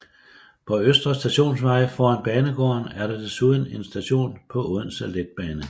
På Østre Stationsvej foran banegården er der desuden en station på Odense Letbane